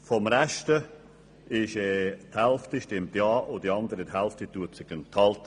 Von den Restlichen Mitgliedern stimmt die Hälfte mit ja und die andere Hälfte wird sich enthalten.